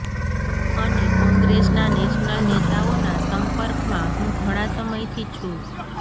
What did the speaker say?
અને કોંગ્રેસના નેશનલ નેતાઓના સંપર્કમાં હું ઘણા સમયથી છું